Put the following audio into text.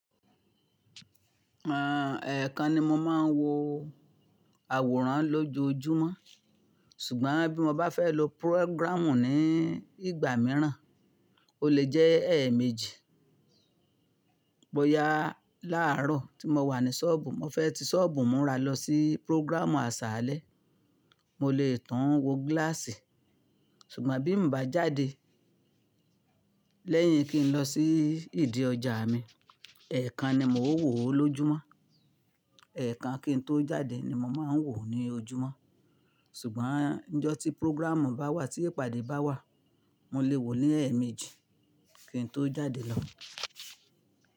Àń, ẹ̀ẹ̀kan ni mo máa ń wo àwòrán lójoójúmọ́. Ṣùgbọ́n bí mo bá fẹ́ lo púrógírámù ní ìgbà mìíràn, o lè jẹ́ ẹ̀ẹ̀méjì. Bóyá láàárọ̀ tí mo wà ní ṣọ́ọ̀bù, mo fẹ́ ti ṣọ́ọ̀bù múra lọ sí púrógírámù aṣálẹ́, mo lè tàn wo gíláàsì. Ṣùgbọ́n bí mo bá jáde lẹ́yìn kí n lọ sí ìdí ọjà mi, ẹ̀ẹ̀kan ni mo ó wò ó lójúmọ́. Ẹ̀ẹ̀kan kí n tó jáde ni mo máa ń wò ó ní ojúmọ́. Ṣùgbọ́n níjọ́ tí púrógírámù bá wà tí ìpàdé bá wà, mo lè wò ó ní ẹ̀ẹ̀méjì kí n tó jáde lọ.